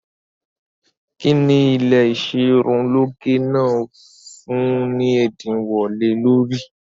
Kín ni ilé ìṣerunlóge náà ń fún ni ẹ̀dínwó lé lórí?